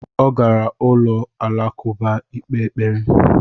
Ọ gara ụlọ alakụba ikpe ekpere